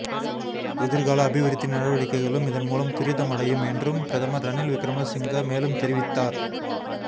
எதிர்கால அபிவிருத்தி நடவடிக்கைகளும் இதன்மூலம் துரிதமடையும் என்றும் பிரதமர் ரணில் விக்கிரம சிங்க மேலும் தெரிவித்தார்